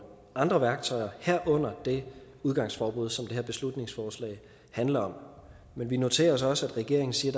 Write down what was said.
andre værktøjer herunder det udgangsforbud som det her beslutningsforslag handler om men vi noterer os også at regeringen siger